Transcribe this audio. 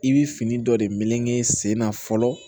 I bɛ fini dɔ de melege sen na fɔlɔ